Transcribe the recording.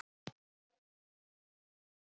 Enn einu sinni braust stjórnleysið út.